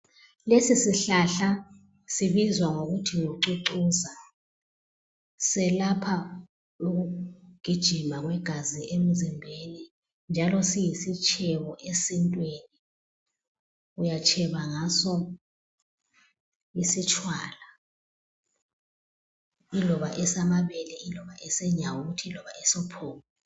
Lesi sihlahla sibizwa ngokuthi ngucucuza selapha ukugijima kwegazi emzimbeni njalo siyisitshebo esintwini uyatsheba ngaso isitshwala iloba esamabele, iloba esenyawuthi, iloba esophoko.